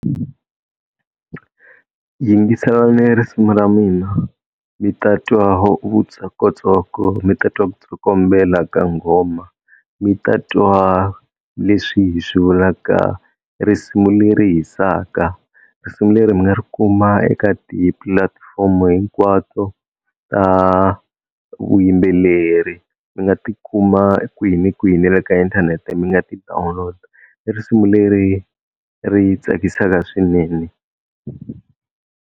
Yingiselani risimu ra mina mi ta twa vutsokotsoko mi ta twa ku tsokombela ka nghoma mi ta twa leswi hi swi vulaka risimu leri hisaka. Risimu leri mi nga ri kuma eka tipulatifomo hinkwato ta vuyimbeleri, mi nga ti kuma kwihi ni kwihi ni le ka inthanete mi nga ti download-a, i risimu leri ri tsakisaka swinene.